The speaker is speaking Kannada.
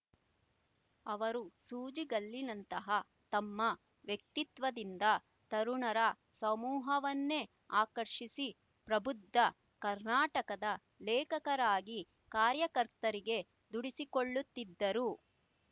ಅವರು ಸೂಜಿಗಲ್ಲಿನಂತಹ ತಮ್ಮ ವ್ಯಕ್ತಿತ್ವದಿಂದ ತರುಣರ ಸಮೂಹವನ್ನೇ ಆಕರ್ಷಿಸಿ ಪ್ರಬುದ್ಧ ಕರ್ನಾಟಕದ ಲೇಖಕರಾಗಿ ಕಾರ್ಯಕರ್ತರಿಗೆ ದುಡಿಸಿಕೊಳ್ಳುತ್ತಿದ್ದರು